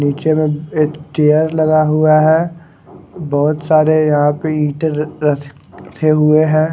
नीचे में एक चेयर लगा हुआ है बहोत सारे यहां पे ईंटे र रख रखे हुए हैं।